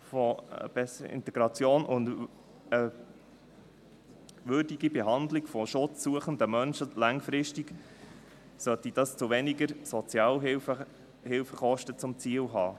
Eine bessere Integration und eine würdige Behandlung schutzsuchender Menschen sollte langfristig weniger Sozialhilfekosten zum Ziel haben.